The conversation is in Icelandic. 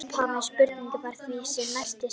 Upphafleg spurning var því sem næst sem hér segir: